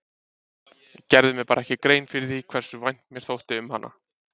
Ég gerði mér bara ekki grein fyrir því hversu vænt mér þótti um hana.